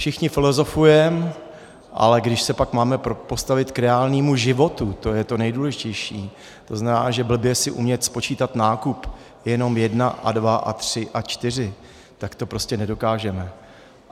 Všichni filozofujeme, ale když se pak máme postavit k reálnému životu, to je to nejdůležitější, to znamená, že blbě si umět spočítat nákup - jenom jedna a dva a tři a čtyři - tak to prostě nedokážeme.